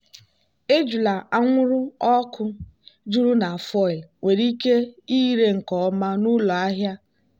ejula anwụrụ ọkụ juru na foil nwere ike ịre nke ọma n'ụlọ ahịa.